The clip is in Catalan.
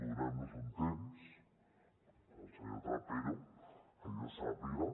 donem nos un temps que el senyor trapero que jo sàpiga